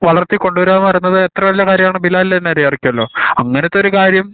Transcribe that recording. വളർത്തി കൊണ്ടുവരുകാപറയണത് എത്രെ വലിയ കാര്യണ് എന്ന് ബിലാലിന് തന്നെ അറിയായിരിക്കലോ അങ്ങനത്തെ ഒരു കാര്യം